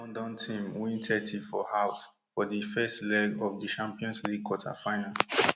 di north london team win thirty for house for di first leg of di champions league quarterfinal